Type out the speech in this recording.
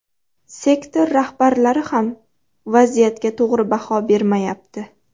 Sektor rahbarlari ham vaziyatga to‘g‘ri baho bermayapti.